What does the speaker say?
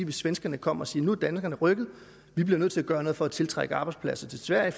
at svenskerne kom og sagde nu er danskerne rykket vi bliver nødt til at gøre noget for at tiltrække arbejdspladser til sverige